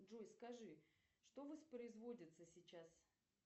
джой скажи что воспроизводится сейчас